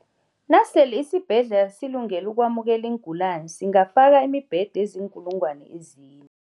Nasele isibhedlela silungele ukwamukela iingulani, singafaka imibhede eziinkulungwana ezine.